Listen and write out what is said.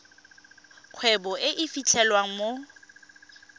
kgwebo e e fitlhelwang mo